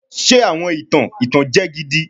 Ṣe awọn itan itanjẹ gidi